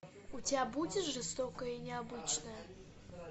у тебя будет жестокое и необычное